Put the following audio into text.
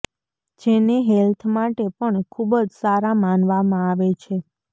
જેને હેલ્થ માટે પણ ખુબ જ સારા માનવામાં આવે છે